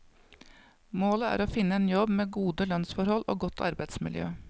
Målet er å finne en jobb med gode lønnsforhold og godt arbeidsmiljø.